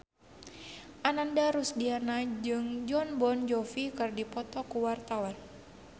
Ananda Rusdiana jeung Jon Bon Jovi keur dipoto ku wartawan